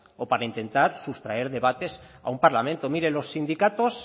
o para intentar sustraer debates a un parlamento miren los sindicatos